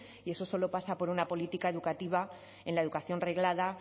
y eso solo pasa por una política educativa en la educación reglada